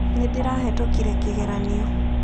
Nĩ ndĩrahĩtũkire kĩgeranio.